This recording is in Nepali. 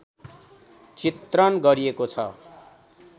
चित्रण गरिएको छ